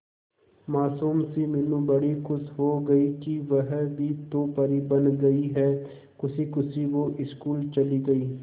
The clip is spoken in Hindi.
मासूम सी मीनू बड़ी खुश हो गई कि वह भी तो परी बन गई है खुशी खुशी वो स्कूल चली गई